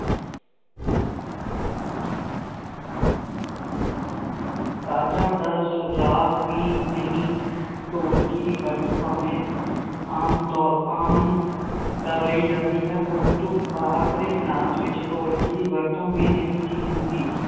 ਸਾਜ਼ਾਂ ਦਾ ਸੁਝਾਵ ਵੀ ਨਹੀਂ। ਢੋਲਕੀ ਦੀ ਵਰਤੋਂ ਭਾਵੇਂ ਆਮ ਤੌਰ ਆਮ ਕਰ ਲਈ ਜਾਂਦੀ ਹੈ ਪ੍ਰੰਤੂ ਪਰੰਪਰਾਇਕ ਨਾਚ ਵਿੱਚ ਢੋਲਕੀ ਦੀ ਵਰਤੋਂ ਵੀ ਨਹੀ ਸੀ ਹੁੰਦੀ।